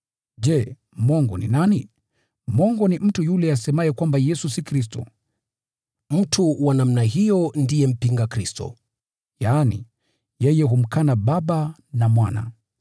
Je, mwongo ni nani? Mwongo ni mtu yule asemaye kwamba Yesu si Kristo. Mtu wa namna hiyo ndiye mpinga Kristo, yaani, yeye humkana Baba na Mwana.